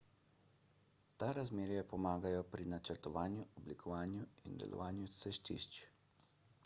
ta razmerja pomagajo pri načrtovanju oblikovanju in delovanju cestišč